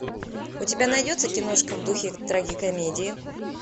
у тебя найдется киношка в духе трагикомедии